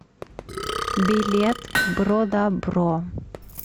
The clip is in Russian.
билет бродабро